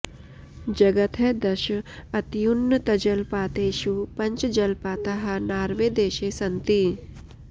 जगतः दश अत्युन्नतजलपातेषु पञ्च जलपाताः नार्वे देशे सन्ति